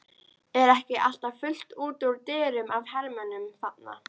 Er ekki alltaf fullt út úr dyrum af hermönnum þarna?